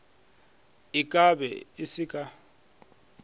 e kabe e se ka